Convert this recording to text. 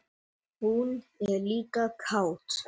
Hún er líka kát.